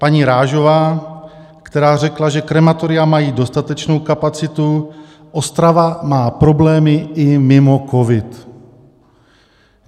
paní Rážová, která řekla, že krematoria mají dostatečnou kapacitu, Ostrava má problémy i mimo covid.